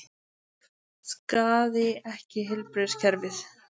Skaði ekki heilbrigðiskerfið